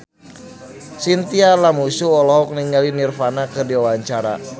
Chintya Lamusu olohok ningali Nirvana keur diwawancara